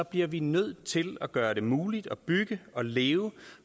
bliver vi nødt til at gøre det muligt at bygge og leve